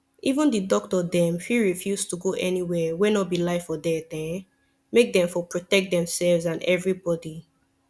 even the doctor dem fit refuse to go anywhere wey no be life or death um make dem for protect themselves and everybody